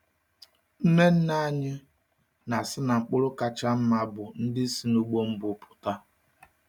Nne nne anyị na-asị na mkpụrụ kacha mma bụ ndị si n’ụgbọ mbụ pụta.